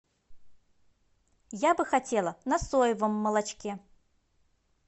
я бы хотела на соевом молочке